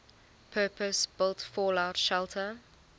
purpose built fallout shelter